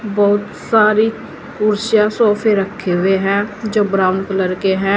बहुत सारी कुर्सियां सोफे रखे हुए हैं जो ब्राउन कलर के हैं।